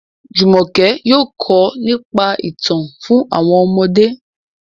Jumoke yóò kọ nípa itan fun àwọn ọmọde.